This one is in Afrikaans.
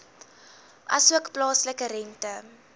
asook plaaslike rente